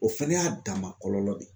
O fɛnɛ y'a dama kɔlɔlɔ de ye.